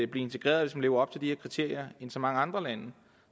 blive integreret hvis man lever op til de her kriterier end så mange andre lande